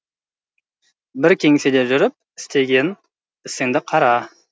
бір кеңседе жүріп істеген ісіңді қара